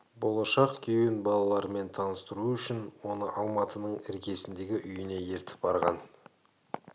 болашақ күйеуін балаларымен таныстыру үшін оны алматының іргесіндегі үйіне ертіп барған